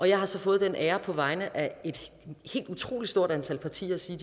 jeg har så fået den ære på vegne af et helt utrolig stort antal partier at sige